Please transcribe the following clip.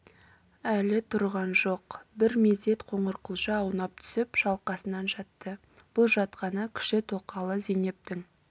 әлі тұрған жоқ бір мезет қоңырқұлжа аунап түсіп шалқасынан жатты бұл жатқаны кіші тоқалы зейнептің